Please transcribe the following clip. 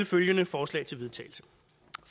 følgende forslag til vedtagelse